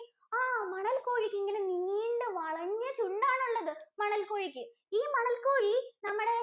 ആഹ് മണൽ കോഴിക്കിങ്ങനെ നീണ്ട വളഞ്ഞ ചുണ്ടാണുള്ളത് മണല്‍ കോഴിക്ക്, ഈ മണൽ കോഴി നമ്മുടെ